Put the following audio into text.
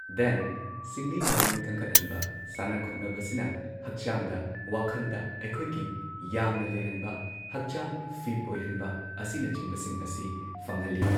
Then ꯁꯤꯡꯂꯤ ꯅꯥꯎꯔꯤ ꯀꯪꯈꯠꯍꯟꯕ ꯁꯥꯟꯅ ꯈꯣꯠꯅꯕꯁꯤꯅ ꯍꯛꯆꯥꯡꯗ ꯋꯥꯈꯟꯗ ꯑꯈꯣꯏꯒꯤ ꯌꯥꯡꯅ ꯂꯩꯍꯟꯕ ꯍꯛꯆꯥꯡ ꯐꯤꯠ ꯑꯣꯏꯍꯟꯕ ꯑꯁꯤꯅꯆꯤꯡꯕꯁꯤꯡ ꯑꯁꯤ ꯐꯪꯍꯜꯂꯤ ꯫